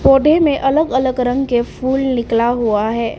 पौधे में अलग अलग रंग के फूल निकला हुआ है।